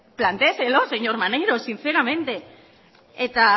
plantéeselo señor maneiro sinceramente eta